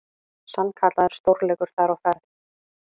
Sannkallaður stórleikur þar á ferð.